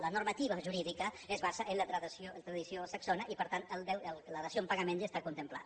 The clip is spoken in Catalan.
la normativa jurídica es basa en la tradició saxona i per tant la dació en pagament ja està contemplada